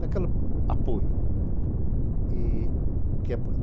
Daquele apoio.